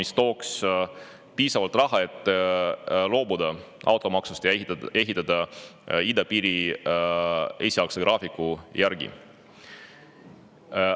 See tooks piisavalt raha, et loobuda automaksust ja ehitada idapiiri esialgse graafiku järgi.